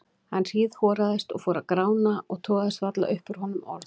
Hann hríðhoraðist og fór að grána og togaðist varla upp úr honum orð.